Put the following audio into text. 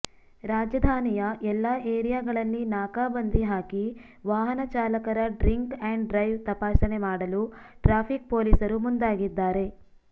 ರಾಜಧಾನಿಯ ಎಲ್ಲಾ ಏರಿಯಾಗಳಲ್ಲಿ ನಾಕಾಬಂದಿ ಹಾಕಿ ವಾಹನ ಚಾಲಕರ ಡ್ರಿಂಕ್ ಆಂಡ್ ಡ್ರೈವ್ ತಪಾಸಣೆ ಮಾಡಲು ಟ್ರಾಫಿಕ್ ಪೊಲೀಸರು ಮುಂದಾಗಿದ್ದಾರೆ